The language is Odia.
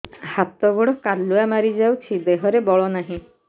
ହାତ ଗୋଡ଼ କାଲୁଆ ମାରି ଯାଉଛି ଦେହରେ ବଳ ନାହିଁ